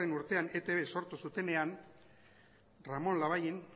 urtean eitb sortu zutenean ramon labayen